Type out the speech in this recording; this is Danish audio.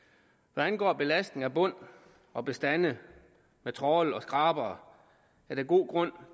hvad angår belastning af bund og bestande med trawl og skrabere er der god grund